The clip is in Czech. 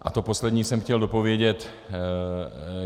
A to poslední jsem chtěl dopovědět.